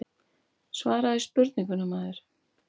Svaraðu spurningunni maður.